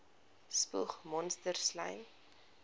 spoeg monsters slym